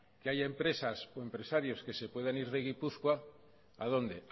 que hay empresas o empresarios que se puedan ir de gipuzkoa a dónde